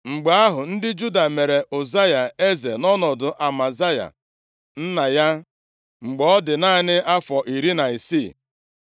Mgbe ahụ, ndị Juda mere Ụzaya + 26:1 Onye a na-akpọkwa Azaraya eze nʼọnọdụ Amazaya nna ya, mgbe ọ dị naanị afọ iri na isii.